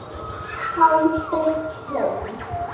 Haldið heim